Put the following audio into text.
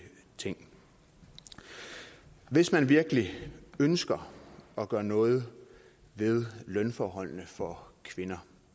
ting hvis man virkelig ønsker at gøre noget ved lønforholdene for kvinder